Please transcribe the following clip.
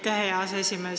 Aitäh, hea aseesimees!